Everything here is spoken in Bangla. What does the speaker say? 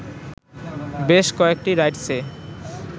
বেশ কয়েকটি রাইডসে